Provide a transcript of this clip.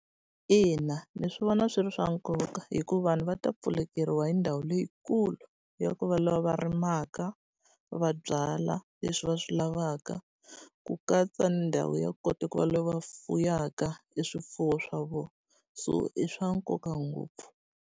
Ina ndzi swi vona swi ri swa nkoka hi ku vanhu va ta pfulekeriwa hi ndhawu leyikulu ya ku va lava va rimaka, va byala leswi va swi lavaka, ku katsa ndhawu ya kota ku va lava fuwaka e swifuwo swa vona. So i swa nkoka ngopfu.